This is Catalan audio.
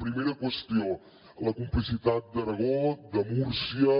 primera qüestió la complicitat d’aragó de múrcia